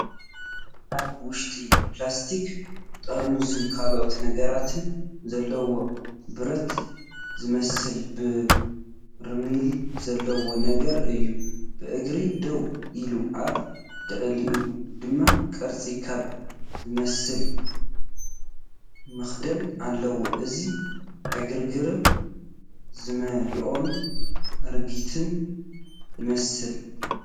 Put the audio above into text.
ኣብ ውሽጡ ፕላስቲክ ጥርሙዝን ካልኦት ነገራትን ዘለዎ ብረት ዝመስል በርሚል ዘለዎ ነገር እዩ። ብእግሩ ደው ኢሉ ኣብ ልዕሊኡ ድማ ቅርጺ ኮን ዝመስል መኽደኒ ኣለዎ። እዚ ዕግርግር ዝመልኦን ኣረጊትን ይመስል።